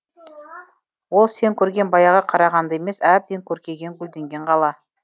ол сен көрген баяғы қарағанды емес әбден көркейген гүлденген қала